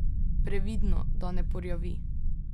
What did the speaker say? Previdno, da ne porjavi!